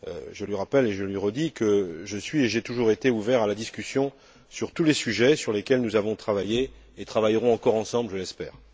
Je lui rappelle et je lui redis que je suis et que j'ai toujours été ouvert à la discussion sur tous les sujets sur lesquels nous avons travaillé et travaillerons encore ensemble, je l'espère.